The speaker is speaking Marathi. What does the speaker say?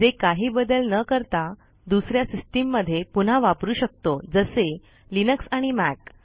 जे काही बदल न करता दुसऱ्या सिस्टम मध्ये पुन्हा वापरू शकतो जसे लिनक्स आणि मॅक